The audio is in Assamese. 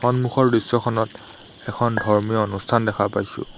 সন্মুখৰ দৃশ্যখনত এখন ধৰ্মীয় অনুষ্ঠান দেখা পাইছোঁ।